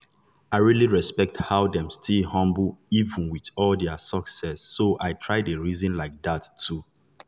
i really respect how dem still humble even with all their success so i try dey reason like that too.